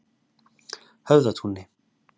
Höfðatúni